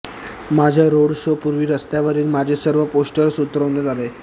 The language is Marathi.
माझ्या रोड शो पूर्वी रस्त्यावरील माझे सर्व पोस्टर्स उतरवण्यात आले